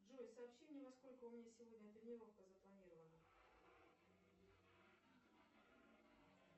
джой сообщи мне во сколько у меня сегодня тренировка запланирована